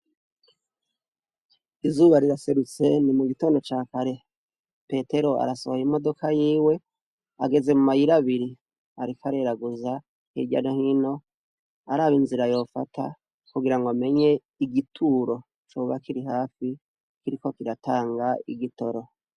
Izuba riraserutse ni mu gitondo ca kare petero arasohaya imodoka yiwe ageze mu mayiraabiri arik areraguza irya nahino araba inzira yofata kugira ngo amenye igituro cobakiri hafi kiriko kiratanga igitoro.